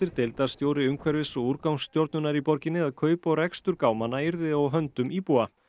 deildarstjóri umhverfis og í borginni að kaup og rekstur gámanna yrði á höndum íbúa